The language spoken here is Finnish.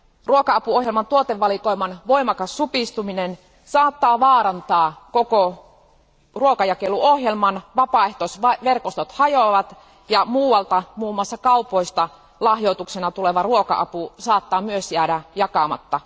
Ruoka apuohjelman tuotevalikoiman voimakas supistuminen saattaa vaarantaa koko ruokajakeluohjelman, vapaaehtoisverkostot hajoavat, ja muualta, muun muassa kaupoista, lahjoituksena tuleva ruoka apu saattaa myös jäädä jakamatta.